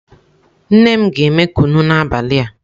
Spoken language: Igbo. Nne m ga eme kunu n'abali a.